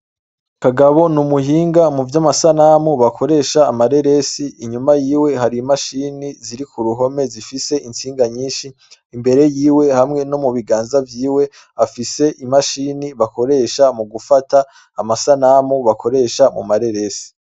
Kagabo n’umuhinga mu vyamasanamu bakoresha amareresi, inyuma yiwe hari imashini ziri kuruhome zifise intsinga nyinshi, imbere yiwe hamwe no mu biganza vyiwe afise imashini bakoresha mu gufata amasamu bakoresha mu mareresi.